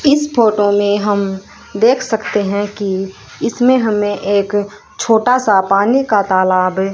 इस फोटो में हम देख सकते हैं कि इसमें हमें एक छोटा सा पानी का तालाब--